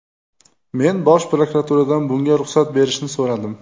Men bosh prokuraturadan bunga ruxsat berishni so‘radim.